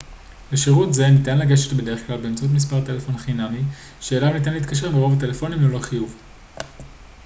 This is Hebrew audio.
לשירות זה ניתן לגשת בדרך-כלל באמצעות מספר טלפון חינמי שאליו ניתן להתקשר מרוב הטלפונים ללא חיוב